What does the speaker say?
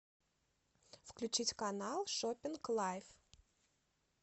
включить канал шоппинг лайф